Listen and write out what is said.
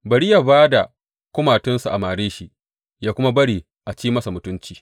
Bari yă ba da kumatunsa a mare shi, yă kuma bari a ci masa mutunci.